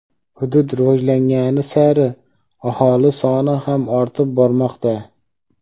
Hudud rivojlangani sari aholi soni ham ortib bormoqda.